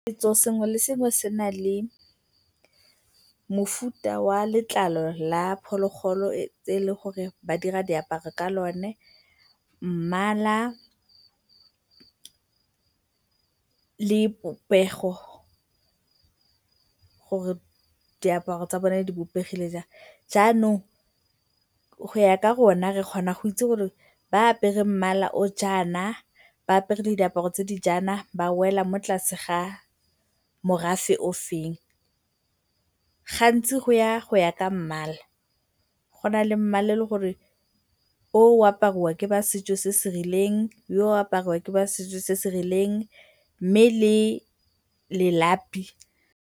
Setso sengwe le sengwe se na le mofuta wa letlalo la phologolo e eleng gore ba dira diaparo ka lone, mmala le popego gore diaparo tsa bone di bopegile jang. Jaanong go ya ka rona re kgona go itse gore ba ba apereng mmala o o jaana, ba apere le diaparo tse di jaana, ba wela mo tlase ga morafe ofeng. Gantsi go ya go ya ka mmala, go na le mmala o eleng gore yo o apariwa ke ba setso se se rileng, yo o apariwa ke ba setso se se rileng, mme le lelapi.